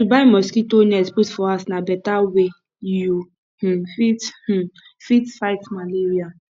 to buy mosquito net put for house na beta way you um fit um fit fight malaria